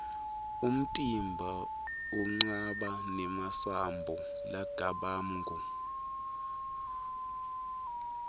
umtimba unqaba nemasambo largabamgu